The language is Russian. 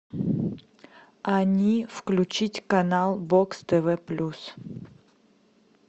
они включить канал бокс тв плюс